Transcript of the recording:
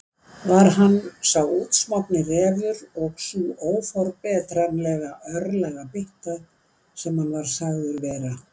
Var hann sá útsmogni refur og sú óforbetranlega örlagabytta sem hann var sagður vera?